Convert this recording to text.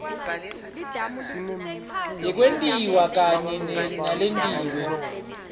yekwentiwa kanye naletinye